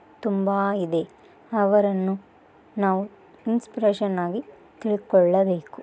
ತುಮ್ಬೈದೆ ಅವರನ್ನು ನಾವು ಇನ್ಸ್ಪಿರತಿಒನಾಗಿ ತಿಳ್ಕೊಲ್ಲಬೇಕು.